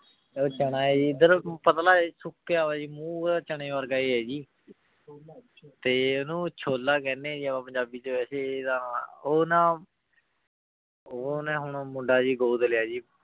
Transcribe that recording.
ਊ ਚਨਾ ਆਯ ਜੀ ਪਤਲਾ ਸੁਖਯ ਹੋਯਾ ਜੀ ਮੂ ਓਦਾ ਚਨੇ ਵਰਗਾ ਆਯ ਜੀ ਤੇ ਓਨੁ ਚੋਲਾ ਕਹਨੀ ਆ ਜਿਵੇਂ ਪੰਜਾਬੀ ਚ ਵੇਸੇ ਤਾਂ ਤੇ ਓ ਨਾ ਓਨੀ ਹੁਣ ਮੁੰਡਾ ਜੀ ਗੋਦ ਲਾਯਾ ਜੀ